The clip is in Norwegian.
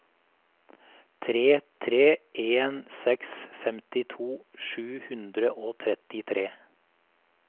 tre tre en seks femtito sju hundre og trettitre